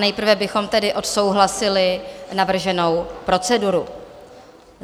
Nejprve bychom tedy odsouhlasili navrženou proceduru.